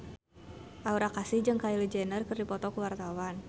Aura Kasih jeung Kylie Jenner keur dipoto ku wartawan